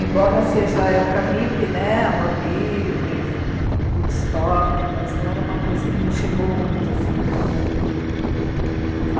Embora seja a época hippie né, amor livre, enfim, o woodstock, mas não era uma coisa que me chegou muito, assim, em mim não.